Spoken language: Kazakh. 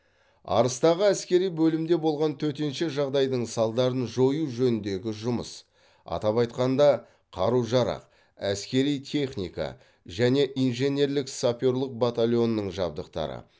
арыстағы әскери бөлімде болған төтенше жағдайдың салдарын жою жөніндегі жұмыс атап айтқанда қару жарақ әскери техника және инженерлік саперлік батальонының жабдықтары